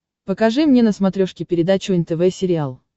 покажи мне на смотрешке передачу нтв сериал